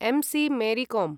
MC. मेरी कों